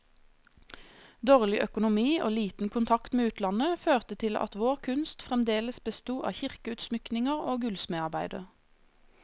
Dårlig økonomi og liten kontakt med utlandet, førte til at vår kunst fremdeles besto av kirkeutsmykninger og gullsmedarbeider.